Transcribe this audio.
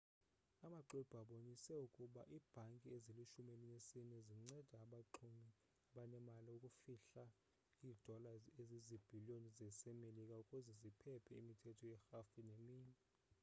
amaxwebhu abonise ukuba iibhanki ezilishumi elinesine zincede abaxumi abanemali ukufihla iidola ezizibhiliyon zasemerika ukuze ziphephe imithetho yerhafu neminye